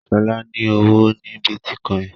Shola ní ọwọ ní Bitcoin.